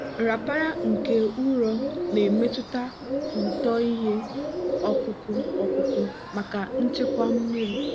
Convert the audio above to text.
nrapara nke ụrọ na-emetụta uto ihe ọkụkụ ọkụkụ maka nchekwa mmiri.